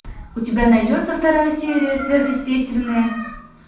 у тебя найдется вторая серия сверхъестественное